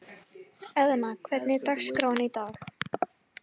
Eðna, hvernig er dagskráin í dag?